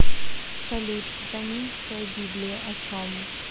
салют сатанинская библия о чем